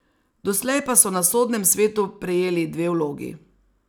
Doslej pa so na sodnem svetu prejeli dve vlogi.